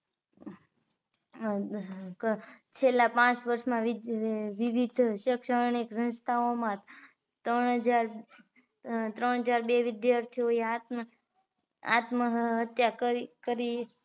છેલ્લા પાંચ ના વિવિધ શેક્ષણીક સંસ્થાઓ માં ત્રણ હજાર બે વિદ્યાર્થીઓએ આત્મ હત્યા કરી કરી